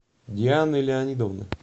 дианы леонидовны